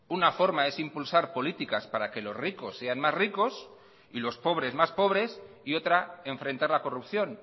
una forma es impulsar políticas para que los ricos sean más ricos y los pobres más pobres y otra enfrentar la corrupción